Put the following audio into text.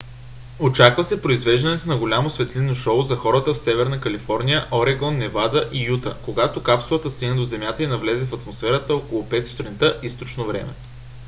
очаква се произвеждането на голямо светлинно шоу за хората в северна калифорния орегон невада и юта когато капсулата стигне до земята и навлезе в атмосферата около 5 сутринта източно време